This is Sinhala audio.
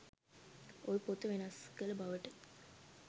ඔය පොත වෙනස් කල බවට